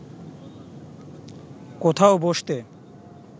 কোথাও বসতে